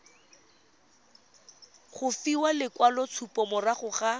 go fiwa lekwaloitshupo morago ga